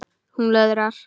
Hún löðrar.